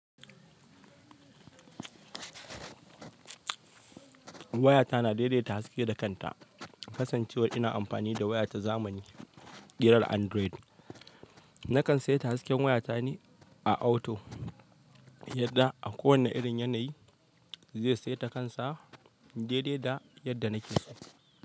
Wayata na daidaita haske da kanta. Kasancewar ina amfani da waya ta zamani, ƙirar Android, na kan saita hasken wayata ne a auto, yadda a kowane irin yanayi zai saita kansa daidai da yadda na ke so.